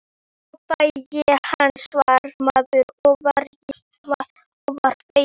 Þá fæ ég hana, svaraði maðurinn og var feginn.